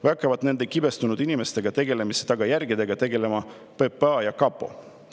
Või hakkavad nende kibestunud inimestega tegelemise tagajärgedega tegelema PPA ja kapo?